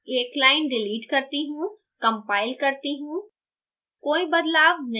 मैं यहाँ एक line डिलीट करती हूँ compile करती हूँ